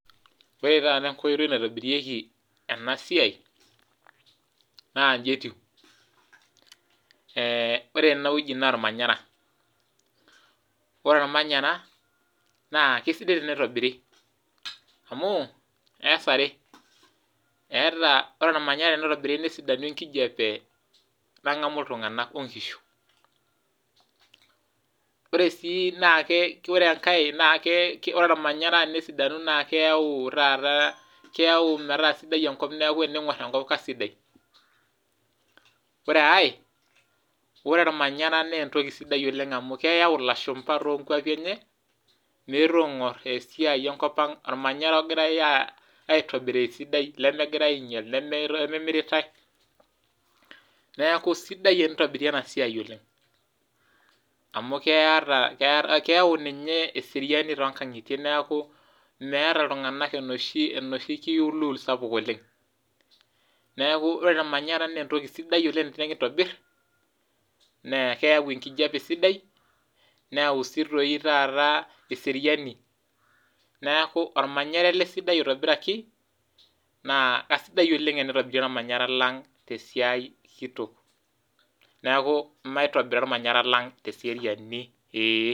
Ore taata enkoitoi naitobirieki ena siai' naa nji etiu ee ore ene wueji naa ormanyara, ore ormanyara naa kesidai enitobiri. amu ees are eeta ore ormanyara tenitobiri nesidanu enkijape nang'amu iltung'anak o nkishu. Ore sii naake kore enkae naake kore ormanyara nesidanu naake keyau taata keyau metaa sidai enkop neeku tening'or enkop kasidai. Ore ai ore ormanyara naa entoki sidai oleng' amu keyau ilashumba too nkuapi enye meetu aing'or esiai enkop ang' ormanyara ogirai aitobiraa esidai lemegirai ainyal, nememiritai. Neeku sidai enitobiri ena siai oleng' amu keyata keyau ninye eseriani too nkang'itie neeku meeta iltung'anak enoshi enoshi kiulul sapuk oleng'. Neeku ore ormanyara nee entoki sidai oleng' tenekintobir nee keyau enkijape sidai neyau sii toi taata eseriani. Neeku ormanyara ele sidai oitobiraki naa kasidai oleng' tenitobiri ormanyara lang' te siai kitok, neeku maitobira ormanyara lang' te seriani ee.